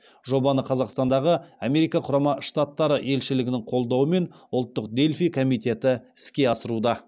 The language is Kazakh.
жобаны қазақстандағы америка құрама штаттары елшілігінің қолдауымен ұлттық дельфий комитеті іске асыруда